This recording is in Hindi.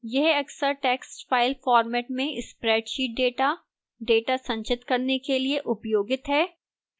यह अक्सर text file format में spreadsheet data data संचित करने के लिए उपयोगित है